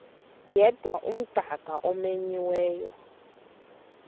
yedwa umdaka omenyiweyo